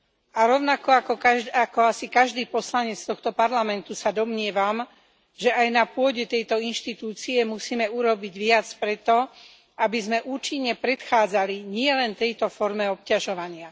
A rovnako ako asi každý poslanec tohto parlamentu sa domnievam, že aj na pôde tejto inštitúcie musíme urobiť viac preto, aby sme účinne predchádzali nielen tejto forme obťažovania.